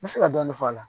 N bɛ se ka dɔɔni fɔ a la